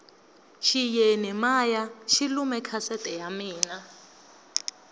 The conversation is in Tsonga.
xiyeni maya xi lume kasete ya mina